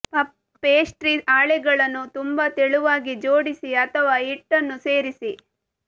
puff pastry ಹಾಳೆಗಳನ್ನು ತುಂಬಾ ತೆಳುವಾಗಿ ಜೋಡಿಸಿ ಅಥವಾ ಹಿಟ್ಟನ್ನು ಸೇರಿಸಿ